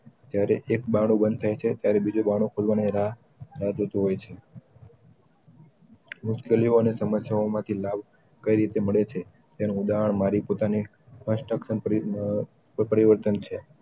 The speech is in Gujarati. જયારે એ બાણું બંદ થાય છે ત્યારે બીજું બાણું ખૂલું ને રાહ રાહ જોતું હોય છે મુસ્કેલીયો ને સમસ્યાઓં માંથી લાભ કઈ રીતે મળે છે એનું ઉધાહાર્ણ મારી પોતાની પરિવર્તન